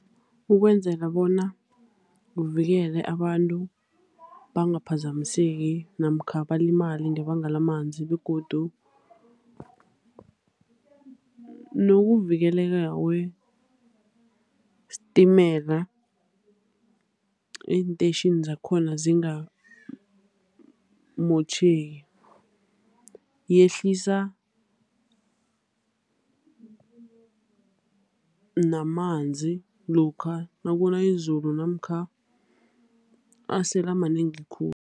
Ukwenzela bona kuvikelwe abantu, bangaphazamiseki namkha balimale ngebanga lamanzi. Begodu nokuvikeleka kwesitimela eentetjhini zakhona zingamotjheki. Yehlisa namanzi lokha nakuna izulu, namkha asele amanengi khulu.